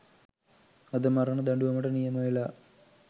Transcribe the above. අද මරණ දඬුවමට නියමවෙලා